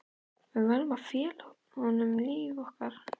Við verðum að fela honum líf okkar.